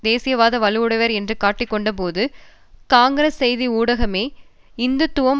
தேசியவாத வலுவுடையவர் என்று காட்டிக் கொண்டபோது காங்கிரஸ் செய்தி ஊடகமே இந்துத்துவம்